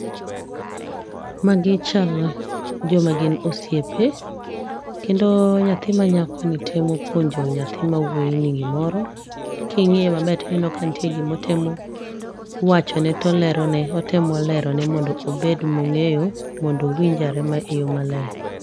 Magi chalo joma gin osiepe kendo nyathi manyakoni temo puonjo nyathi mawuoyini gimoro, king'iye maber to ineno ka nitie gima otemo wachone to olerone. Otemo lerone mondo obed mong'eyo mondo owinj ane eyo maler.